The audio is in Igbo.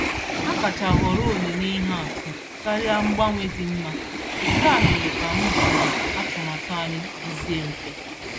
Ha kacha họrọ onyinye ihe atụ karịa mgbanwe dị mma, nke a mere ka mbọ na atụmatụ anyị dizie mfe.